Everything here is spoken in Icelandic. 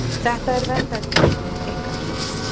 Þetta er verndargripurinn ykkar?